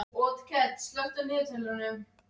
Eða að lyfin sem lækna Arnar séu geymd í bankahólfinu.